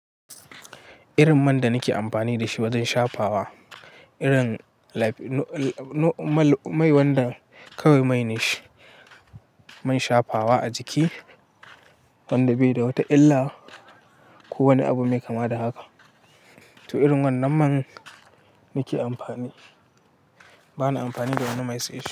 Irin man da nake amfani da shi wajen shafawa. Irin mai wanda kawai mai ne shi, mai shafawa a jiki, wanda bai da wata illa ko wani abu mai kama da haka. To irin wannan man nake amfani. Bana amfani da wani mai sai shi.